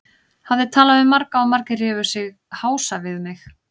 Hafði talað við marga og margir rifu sig hása við mig.